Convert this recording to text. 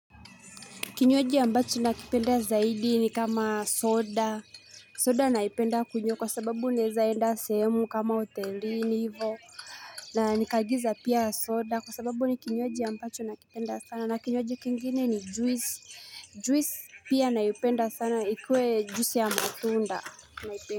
Kinywaji ambacho nakipenda zaidi ni kama soda, soda naipenda kunywa kwa sababu naeza enda sehemu kama utelini hivo na nikaagiza pia soda kwa sababu ni kinywaji ambacho nakipenda sana na kinywaji kingine ni juice, juice pia naipenda sana ikue juice ya matunda naipenda.